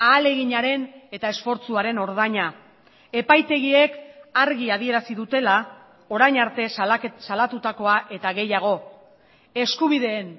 ahaleginaren eta esfortzuaren ordaina epaitegiek argi adierazi dutela orain arte salatutakoa eta gehiago eskubideen